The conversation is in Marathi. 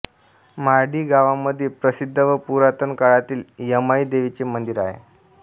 मार्डी गावामध्ये प्रसिद्ध व पुरातन काळातील यमाई देवीचे मंदिर आहे